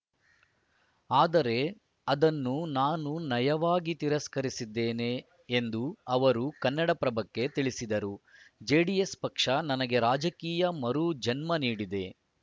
ಆದರೆ ಅದನ್ನು ನಾನು ನಯವಾಗಿ ತಿರಸ್ಕರಿಸಿದ್ದೇನೆ ಎಂದು ಅವರು ಕನ್ನಡಪ್ರಭಕ್ಕೆ ತಿಳಿಸಿದರು ಜೆಡಿಎಸ್‌ ಪಕ್ಷ ನನಗೆ ರಾಜಕೀಯ ಮರು ಜನ್ಮ ನೀಡಿದೆ